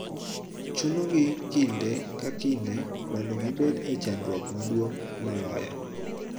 Chuno gi kinde ka kinde mondo gibed e chandruok maduong� moloyo